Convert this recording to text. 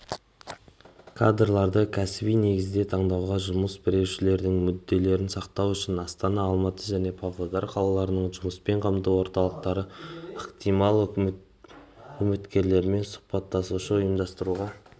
кадрларды кәсіби негізде таңдауда жұмыс берушілердің мүдделерін сақтау үшін астана алматы және павлодар қалаларының жұмыспен қамту орталықтары ықтимал үміткерлермен сұхбаттасуды ұйымдастыруға